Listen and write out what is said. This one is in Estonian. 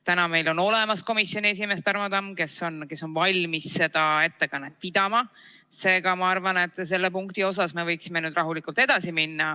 Täna meil on olemas komisjoni esimees Tarmo Tamm, kes on valmis seda ettekannet pidama, seega ma arvan, et selle punktiga me võiksime nüüd rahulikult edasi minna.